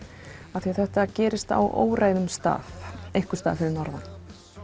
af því þetta gerist á óræðum stað einhvers staðar fyrir norðan